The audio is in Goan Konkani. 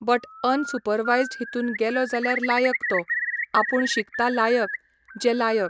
बट अनसुपरवायजड हितून गेलो जाल्यार लायक तो आपूण शिकता लायक जे लायक